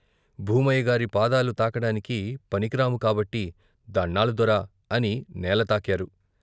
భూమయ్యగారి పాదాలు తాకడానికి పనికిరాము కాబట్టి "దణ్ణాలు దొరా" అని నేల తాకారు.